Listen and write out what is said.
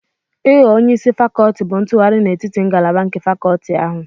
Ịghọ onye isi fakolti bụ ntụgharị n'etiti ngalaba nke fakolti ahụ.